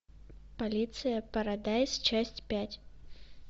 полиция парадайз часть пять